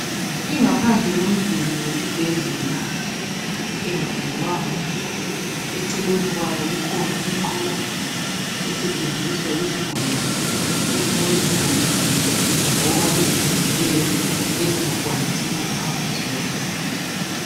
Ingaphandle yomduli wesibhedlela engapendwanga. Eceleni kwawo kukhona inqola . Esetshenziswa yizigulane ezingabe zigogekile, loba ezilimeleyo, ezingakwanisi ukuhamba zodwa.